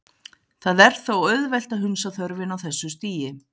Það er þó auðvelt að hunsa þörfina á þessu stigi.